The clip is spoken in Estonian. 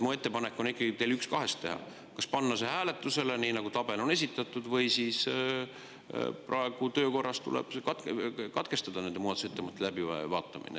Minu ettepanek teile on ikkagi teha üks kahest: kas panna see hääletusele, nii nagu tabelis on esitatud, või siis praegu töökorras tuleb katkestada nende muudatusettepanekute läbivaatamine.